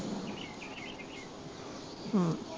ਹੂੰ